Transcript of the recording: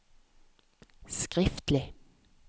skriftlig